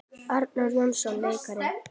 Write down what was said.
Arnar Jónsson leikari